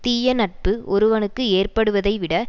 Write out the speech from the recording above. தீய நட்பு ஒருவனுக்கு ஏற்படுவதை விட